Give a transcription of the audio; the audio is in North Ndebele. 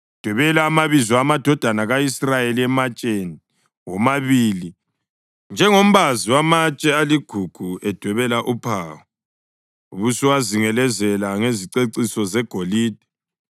Dwebela amabizo amadodana ka-Israyeli ematsheni womabili njengombazi wamatshe aligugu edwebela uphawu. Ubusuwazingelezela ngeziceciso zegolide